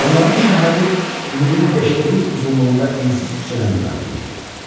Onların şəhəri milin beşdə bir uzunluğunda ensiz küçədən ibarət idi.